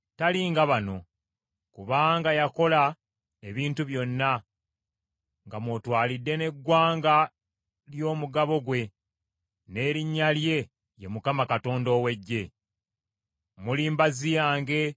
Oyo omugabo gwa Yakobo tali nga bano, kubanga yakola ebintu byonna, nga mwotwalidde n’eggwanga ly’omugabo gwe, n’erinnya lye ye Mukama Katonda ow’Eggye.